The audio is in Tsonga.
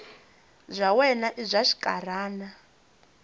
bya wena i bya xinkarhana